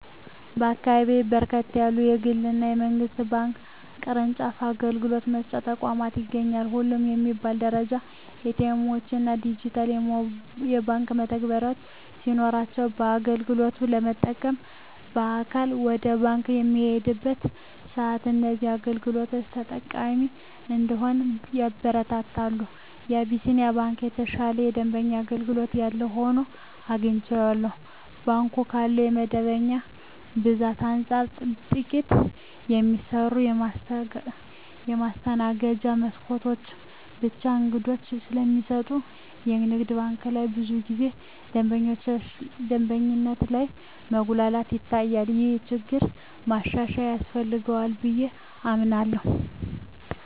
በአካባቢየ በርከት ያሉ የግል እና የመንግስት ባንክ ቅርጫፍ አገልግሎት መስጫ ተቋማት ይገኛሉ። ሁሉም በሚባል ደረጃ ኤ.ቲ. ኤምዎች እና ዲጂታል የባንክ መተግበሪያዎች ሲኖሯቸው አገልግሎት ለመጠቀም በአካል ወደ ባንክ በምንሄድበት ሰአትም እዚህን አገልግሎቶች ተጠቃሚ እንድንሆን ያበረታታሉ። የአቢስንያ ባንክ የተሻለ የደንበኛ አገልግሎት ያለው ሆኖ አግኝቸዋለሁ። ባንኩ ካለው የደንበኛ ብዛት አንፃር ጥቂት የሚሰሩ የማስተናገጃ መስኮቶች ብቻ አገልግሎት ስለሚሰጡ የንግድ ባንክ ላይ ብዙ ጊዜ ደንበኞች ላይ መጉላላት ይታያል። ይህ ችግር ማሻሻያ ያስፈልገዋል ብየ አምናለሁ።